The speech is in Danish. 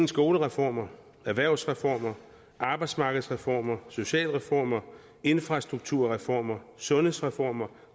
skolereformer erhvervsreformer arbejdsmarkedsreformer socialreformer infrastrukturreformer sundhedsreformer